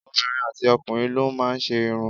Obìnrin àti ọkùnrin ló má ń ṣe irun